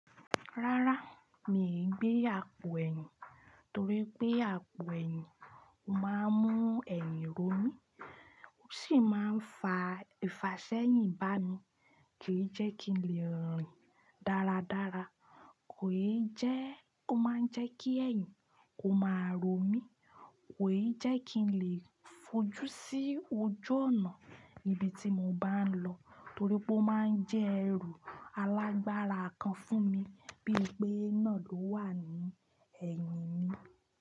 Rárá, mi ò gbé àpò ẹ̀yìn torí pé àpò ẹ̀yìn máa ń mú ẹ̀yìn rọ mí. Ó sì máa ń fa ìfàṣẹ́yìn bá mi kí jẹ́ kí n lè rìn dáradára. Kò yé jẹ́ o maa ń jẹ́ kí ẹ̀yìn kó máa rọ mí, kò yé jẹ́ kí n lè fojú sí ojú ọ̀nà níbi tí mo bá ń lọ torí pé ó máa ń jẹ́ ẹrù alágbára kan fún mi bí i pé iná lọ wà ní ẹ̀yìn mi.